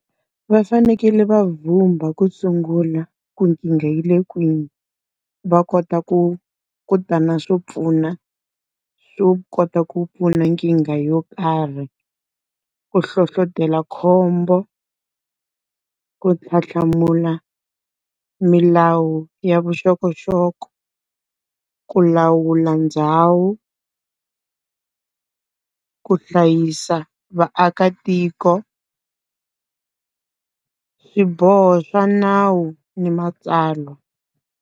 Va fanekele va vhumba ku sungula ku nkingha yi le kwini. Va kota ku ku ta na swo pfuna, swo kota ku pfuna nkingha yo karhi. Ku hlohletela khombo, ku tlhantlhamula milawu ya vuxokoxoko, ku lawula ndhawu ku hlayisa vaakatiko swiboho swa nawu ni matsalwa.